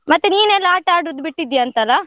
ಮತ್ತೆ ನೀನ್ ಎಲ್ಲ ಆಟ ಆಡುದು ಬಿಟ್ಟಿದ್ಯಾ ಅಂತ ಅಲ್ಲ?